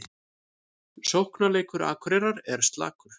Sóknarleikur Akureyrar er slakur